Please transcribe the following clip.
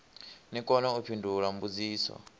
ni kone u fhindula mbudziso